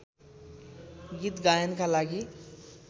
गीत गायनका लागि